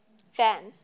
van